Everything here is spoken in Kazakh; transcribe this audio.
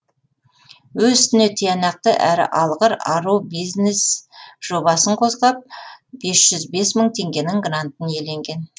өз ісіне тиянақты әрі алғыр ару бизнес жобасын қозғап бес жүз бес мың теңгенің грантын иеленген